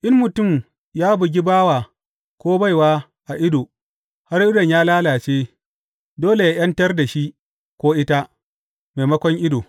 In mutum ya bugi bawa ko baiwa a ido, har idon ya lalace, dole yă ’yantar da shi ko ita, maimakon ido.